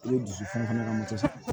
I ye dusu fana ka moto san